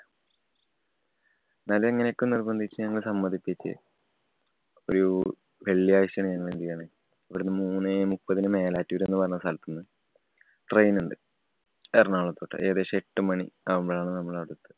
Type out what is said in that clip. എന്നാലും എങ്ങനെയൊക്കെയോ നിർബന്ധിപ്പിച്ച് ഞങ്ങള് സമ്മതിപ്പിച്ച്. ഒരു വെള്ളിയാഴ്ചയാണ് ഞങ്ങൾ എന്ത് ചെയ്യണേ. ഇവിടുന്ന് മൂന്ന് മുപ്പതിന് മേലാറ്റൂർ എന്ന് പറയുന്ന സ്ഥലത്തുന്ന് train ഉണ്ട്. എറണാകുളത്തോട്ട്. ഏകദേശം എട്ടു മണി ആകുമ്പോഴാണ് നമ്മൾ അവിടെ എത്തുക.